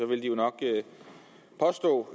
ville de jo nok påstå